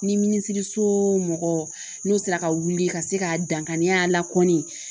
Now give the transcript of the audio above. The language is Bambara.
Ni minisiriso mɔgɔ n'o sera ka wuli ka se ka dankari a la kɔni